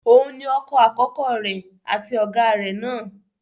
Òun ni ọkọ àkọ́kọ́ rẹ̀, àti ọ̀gá rẹ̀ náà.